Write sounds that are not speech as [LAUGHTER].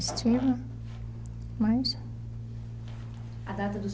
[UNINTELLIGIBLE] mais. A data do seu